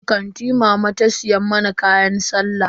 A kanti mama ta siya mana kayan sallah.